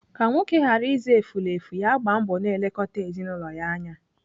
Ka nwoke ghara ịza efulefu, ya gbaa mbọ na-elekọta ezinaụlọ ya anya.